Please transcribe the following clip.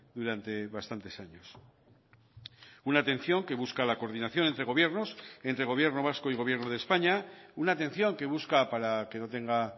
durante bastantes años una atención que busca la coordinación entre gobiernos entre gobierno vasco y gobierno de españa una atención que busca para que no tenga